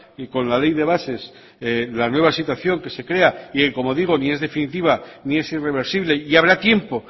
y con la ley de bases la nueva situación que se crea y como digo ni es definitiva ni es irreversible y habrá tiempo